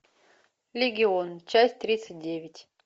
легион часть тридцать девять